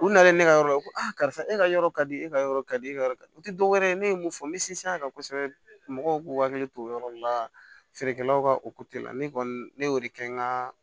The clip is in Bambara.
U nana ye ne ka yɔrɔ ko karisa e ka yɔrɔ ka di e ka yɔrɔ ka di e ka yɔrɔ o tɛ dɔwɛrɛ ye ne ye mun fɔ n bɛ sinsin a kan kosɛbɛ mɔgɔw k'u hakili to o yɔrɔ nun na feerekɛlaw ka la ne kɔni ne y'o de kɛ n ka